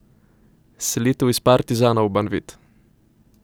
Selitev iz Partizana v Banvit.